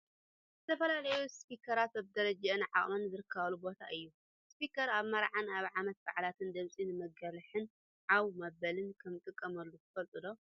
ዝተፈላለዩ ስፒከራት በቢደረጅኡን ዓቅሙን ዝርከቡሉ ቦታ እዩ። ስፒከር ኣብ መርዓን ዓመት ባዓላትን ድምፂ ንመጉልሒን ዓው መበልን ከምዝጠቅመና ትፈልጡ ዶ ?